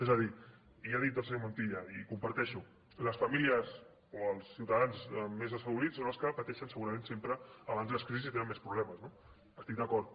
és a dir ja ha dit el senyor montilla i ho comparteixo les famílies o els ciutadans més desfavorits són els que pateixen segurament sempre abans de les crisis i tenen més problemes no hi estic d’acord